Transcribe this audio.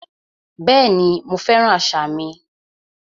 Bẹ́ẹ̀ni, mo fẹ́ràn àṣà mi